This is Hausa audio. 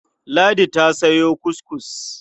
Ladi ta sayo kuskus.